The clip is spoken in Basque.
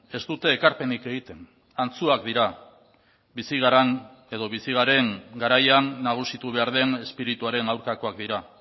ez dute erkapenik egiten antzuak dira bizi garen garaian nagusitu behar den izpirituaren aurkakoak dira